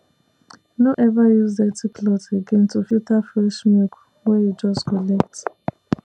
no ever use dirty cloth again to filter fresh milk wey you just collect